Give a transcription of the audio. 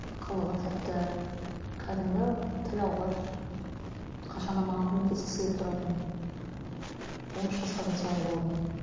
қылығы тәтті кәдімгі тіл алғыш қашан да маған көмектескісі келіп тұратын он үш жасқа дейін солай болды